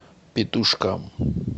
петушкам